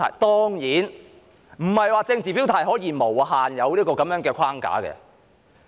當然不是說政治表態可以完全不受規限。